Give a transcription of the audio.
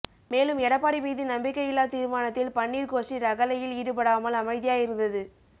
மேலும் எடப்பாடி மீது நம்பிக்கை இல்லா தீர்மானத்தில் பன்னீர் கோஷ்டி ரகளையில் ஈடுபடாமல் அமைதியாய் இருந்தது